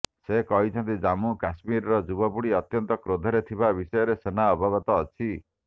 ସେ କହିଛନ୍ତି ଜାମ୍ମୁ କାଶ୍ମୀର ଯୁବପିଢି ଅତ୍ୟନ୍ତ କ୍ରୋଧରେ ଥିବା ବିଷୟରେ ସେନା ଅବଗତ ଅଛି